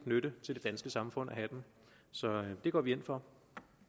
nytte til det danske samfund at have den så det går vi ind for